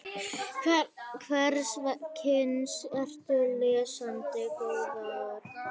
Hvers kyns ertu lesandi góður?